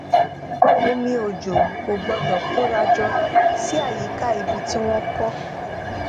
omi òjò kò gbódò kóra jọ sí àyíká ibi tí wón kó